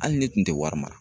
Hali ne tun tɛ wari mara